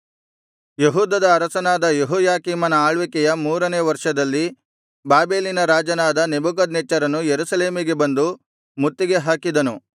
ಯೆಹೂದದ ಅರಸನಾದ ಯೆಹೋಯಾಕೀಮನ ಆಳ್ವಿಕೆಯ ಮೂರನೆಯ ವರ್ಷದಲ್ಲಿ ಬಾಬೆಲಿನ ರಾಜನಾದ ನೆಬೂಕದ್ನೆಚ್ಚರನು ಯೆರೂಸಲೇಮಿಗೆ ಬಂದು ಮುತ್ತಿಗೆ ಹಾಕಿದನು